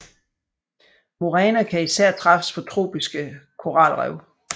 Muræner kan især træffes på tropiske koralrev